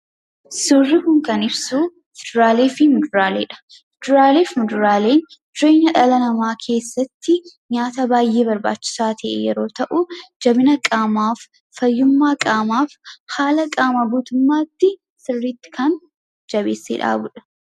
Suuraan kun kan ibsu fuduraalee fi muduraaleedha. Fuduraalee fi muduraaleen jireenya dhala namaa keessatti nyaata baay'ee barbaachisaa ta'e yeroo ta'u, jabina qaamaaf, fayyummaa qaamaaf, haala qaamaa guutummaatti sirriitti kan jabeessee dhaabudha.